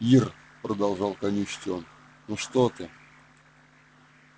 ир продолжал канючить он ну что ты